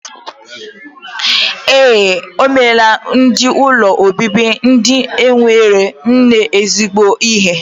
Ee, omelaa ndi ụlọ obibi ndi enwero nne zigbo ihe.